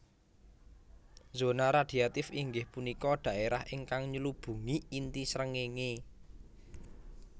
Zona radhiatif inggih punika dhaérah ingkang nylubungi inti srengéngé